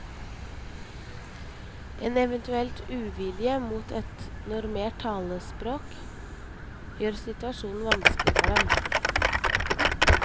En eventuell uvilje mot et normert talespråk gjør situasjonen vanskelig for dem.